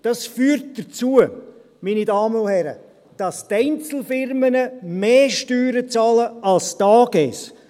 Dies führt dazu, meine Damen und Herren, dass Einzelfirmen mehr Steuern bezahlen als AGs.